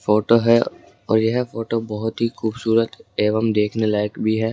Photo है और यह फोटो बहुत ही खूबसूरत एवं देखने लायक भी है।